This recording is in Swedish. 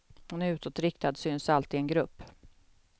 Hon är utåtriktad, syns alltid i en grupp.